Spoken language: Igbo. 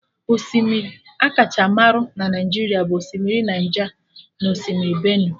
Osimiri akacha marụ na Naijiria bụ osimiri Naija na Osimiri Benue